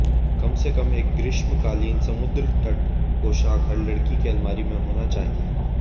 कम से कम एक ग्रीष्मकालीन समुद्र तट पोशाक हर लड़की के अलमारी में होना चाहिए